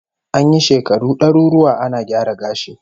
An yi shekaru daruruwa ana gyara gashi